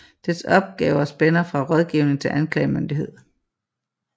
Dets opgaver spænder fra rådgivning til anklagemyndighed